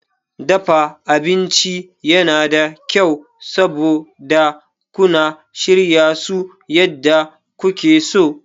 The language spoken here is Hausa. Dafa abinci yana da kyau, saboda kuna shirya su yadda kuke so.